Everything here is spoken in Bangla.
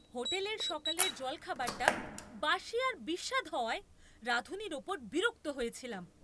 হোটেলের সকালের জলখাবারটা বাসি আর বিস্বাদ হওয়ায় রাঁধুনীর ওপর বিরক্ত হয়েছিলাম।